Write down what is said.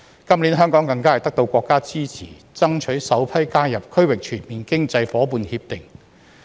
今年，香港更是獲得國家支持爭取首批加入"區域全面經濟夥伴協定"。